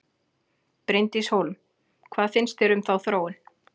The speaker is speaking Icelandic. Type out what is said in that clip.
Bryndís Hólm: Hvað finnst þér um þá þróun?